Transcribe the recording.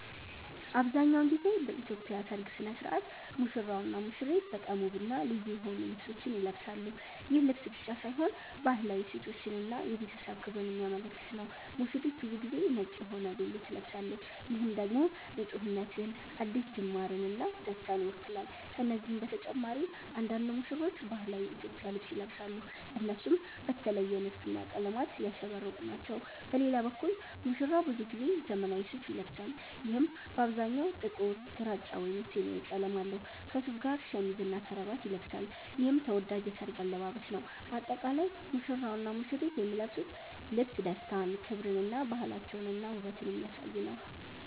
አብዛሀኛውን ጊዜ በኢትዮጵያ ሠርግ ሥነ ሥርዓት ሙሽራውና ሙሽሪት በጣም ውብና ልዩ የሆኑ ልብሶችን ይለብሳሉ። ይህ ልብስ ብቻ ሳይሆን ባህላዊ እሴቶችን እና የቤተሰብ ክብርን የሚያመለክት ነው። ሙሽሪት ብዙ ጊዜ ነጭ የሆነ ቬሎ ትለብሳለች፣ ይህም ደግሞ ንፁህነትን፣ አዲስ ጅማርን እና ደስታን ይወክላል። ከነዚህ በተጨማሪ አንዳንድ ሙሽራዎች ባህላዊ የኢትዮጵያ ልብስ ይለብሳሉ፣ እነሱም በተለየ ንድፍና ቀለማት ያሸበረቁ ናቸው። በሌላ በኩል ሙሽራው ብዙ ጊዜ ዘመናዊ ሱፋ ይለብሳል፣ ይህም በአብዛኛው ጥቁር፣ ግራጫ ወይም ሰማያዊ ቀለም አለው። ከሱፉ ጋር ሸሚዝና ከረባት ይለብሳል፣ ይህም ተወዳጅ የሠርግ አለባበስ ነው። በአጠቃላይ ሙሽራውና ሙሽሪት የሚለብሱት ልብስ ደስታን፣ ክብርን እና ባህላቸውንና ውበትን የሚያሳይ ነው።